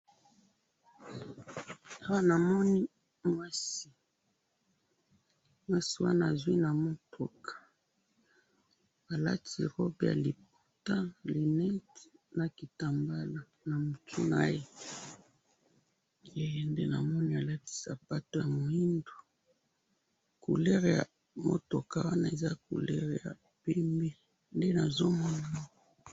awa namoni mwasi, mwasi wana azwi na mutuka alati robe ya liputa lunette na kitambalo na mutu naye he nde namoni sapato ya mwindu couleur ya mutuk nmoni ezali couleur ya mwindu nde nazomona